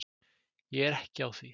Ég er ekki á því